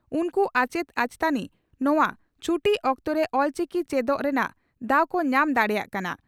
ᱩᱱᱠᱩ ᱟᱪᱮᱛ ᱟᱪᱮᱛᱟᱹᱱᱤ ᱱᱚᱣᱟ ᱪᱷᱴᱤ ᱚᱠᱛᱚᱨᱮ ᱚᱞᱪᱤᱠᱤ ᱪᱮᱰᱚᱜ ᱨᱮᱱᱟᱜ ᱫᱟᱣ ᱠᱚ ᱧᱟᱢ ᱫᱟᱲᱮᱭᱟᱜ ᱠᱟᱱᱟ ᱾